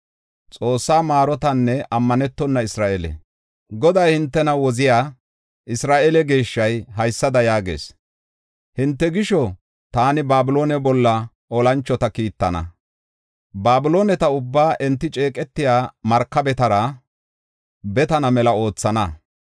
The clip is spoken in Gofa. Goday, hintena Woziya, Isra7eele Geeshshay, haysada yaagees: “Hinte gisho, taani Babiloone bolla olanchota kiittana. Babilooneta ubbaa enti ceeqetiya markabetara betana mela oothana.